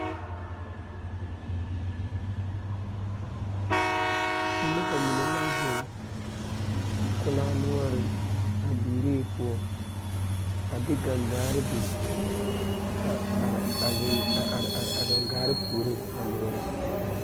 Nobɔ bayi be la zigbaŋgbaliŋ a tuŋ bon yaayi ka kaŋa egi saazuŋ a be seɛɛŋ kyɛ ka nobɔ are ba puoriŋ ka mine pɛgle gaŋgarre.